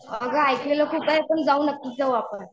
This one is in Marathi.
अगं ऐकलेलं खूप आहे पण जाऊ नक्कीच जाऊ आपण.